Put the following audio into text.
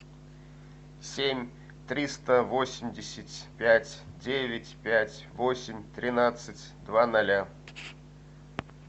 семь триста восемьдесят пять девять пять восемь тринадцать два ноля